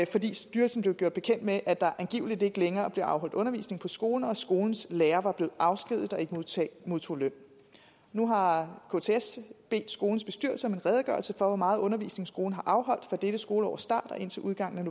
fordi styrelsen blev gjort bekendt med at der angiveligt ikke længere blev afholdt undervisning på skolen og at skolens lærere var blevet afskediget og ikke modtog løn nu har kts bedt skolens bestyrelse om en redegørelse for hvor meget undervisning skolen har afholdt fra dette skoleårs start og indtil udgangen af